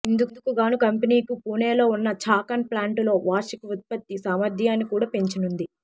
ఇందుకు గానూ కంపెనీకు పూణేలో ఉన్న ఛాకన్ ప్లాంటులో వార్షిక ఉత్పత్తి సామర్థ్యాన్ని కూడా పెంచనుంది